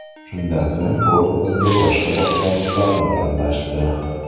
Shundan so‘ng, o‘rnimizga boshqa boshlovchilarni tanlashdi.